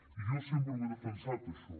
i jo sempre ho he defensat això